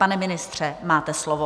Pane ministře, máte slovo.